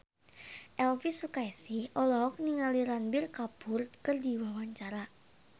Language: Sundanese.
Elvi Sukaesih olohok ningali Ranbir Kapoor keur diwawancara